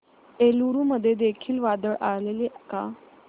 एलुरू मध्ये देखील वादळ आलेले का